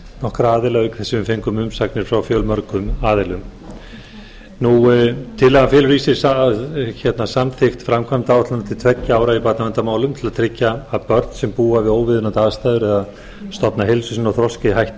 nokkra aðila auk þess sem við fengum umsagnir frá fjölmörgum aðilum tillagan felur í sér samþykkt framkvæmdaáætlunar til tveggja ára í barnaverndarmálum til að tryggja að börn sem búa við óviðunandi aðstæður eða stofna heilsu sinni og þroska í hættu